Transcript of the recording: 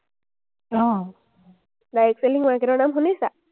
direct selling market ৰ নাম শুনিছা?